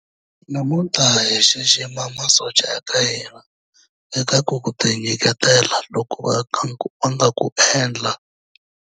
Namuntlha hi xixima masocha ya ka hina eka ku tinyiketela loku va nga ku endla.